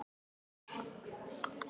Estel, hvernig verður veðrið á morgun?